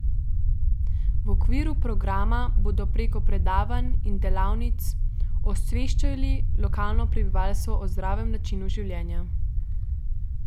V okviru programa bodo preko predavanj in delavnic osveščali lokalno prebivalstvo o zdravem načinu življenja.